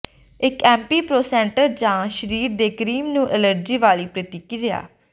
ਇੱਕ ਐਂਪੀਪ੍ਰੋਸੈਂਟਰ ਜਾਂ ਸਰੀਰ ਦੇ ਕਰੀਮ ਨੂੰ ਐਲਰਜੀ ਵਾਲੀ ਪ੍ਰਤੀਕ੍ਰਿਆ